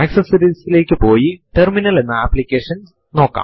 പക്ഷെ നമ്മുടെ നിലവിലുള്ള പാസ്സ്വേർഡ് മറന്നുപോയാൽ നമ്മൾ എന്ത് ചെയ്യും